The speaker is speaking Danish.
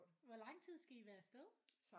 Hvor lang tid skal I være af sted?